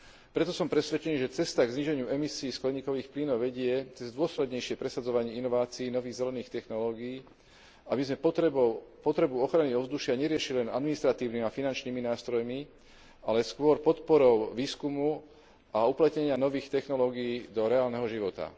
Preto som presvedčený, že cesta k zníženiu emisií skleníkových plynov vedie cez dôslednejšie presadzovanie inovácií nových zelených technológií, aby sme potrebu ochrany ovzdušia neriešili len administratívnymi a finančnými nástrojmi, ale skôr podporou výskumu a uplatnenia nových technológií do reálneho života.